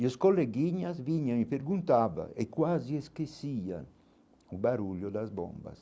E os coleguinhas vinham e perguntavam, e quase esquecia o barulho das bombas.